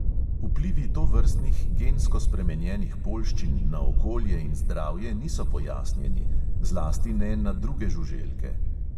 Vplivi tovrstnih gensko spremenjenih poljščin na okolje in zdravje niso pojasnjeni, zlasti ne na druge žuželke.